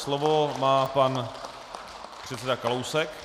Slovo má pan předseda Kalousek.